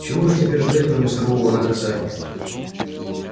чего же теперь ждать кроме сурового наказания